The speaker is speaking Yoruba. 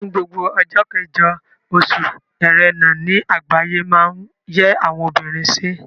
Ni gbogbo ọjọ́ kẹjọ oṣù Ẹrẹ̀nà ni àgbáyé máa ń yẹ àwọn obìnrin sí.